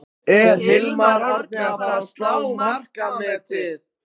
Er Hilmar Árni að fara að slá markametið?